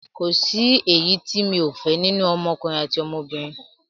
Kòsí èyí ti mi ò fẹ́ nínú ọmọ ọkùnrin àti obìnrin